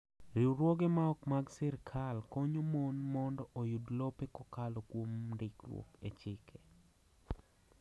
Riwruoge ma ok mag sirkal konyo mon mondo oyud lope kokalo kuom ndikruok e chik.